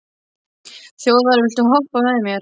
Þjóðar, viltu hoppa með mér?